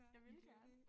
Jeg ville gerne